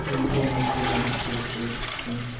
ты не понял саня я спать через десять минут